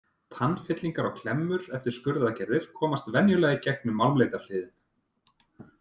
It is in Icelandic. Tannfyllingar og klemmur eftir skurðargerðir komast venjulega í gegn um málmleitarhliðin.